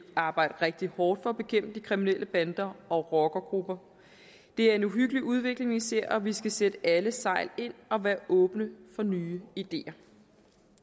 arbejde rigtig hårdt for at bekæmpe de kriminelle bander og rockere det er en uhyggelig udvikling vi ser og vi skal sætte alle sejl ind og være åbne for nye ideer